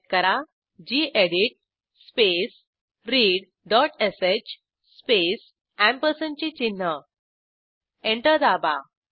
type करा गेडीत space readश स्पेस अँपरसँडचे चिन्ह एंटर दाबा